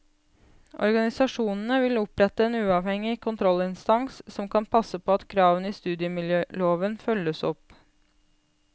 Organisasjonene vil opprette en uavhengig kontrollinstans som kan passe på at kravene i studiemiljøloven følges opp.